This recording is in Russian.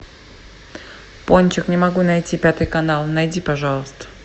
пончик не могу найти пятый канал найди пожалуйста